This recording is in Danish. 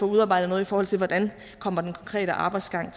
udarbejdet noget i forhold til hvordan den konkrete arbejdsgang